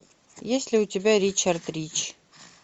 есть ли у тебя ричард рич